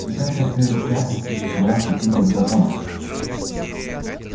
когда это предвзятость подчинялась каким-либо законам